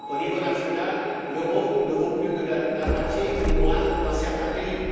Au niveau national, l'euro ne vaut plus que la moitié ou moins dans certains pays.